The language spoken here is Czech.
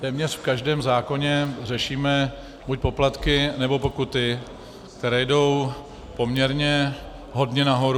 Téměř v každém zákoně řešíme buď poplatky, nebo pokuty, které jdou poměrně hodně nahoru.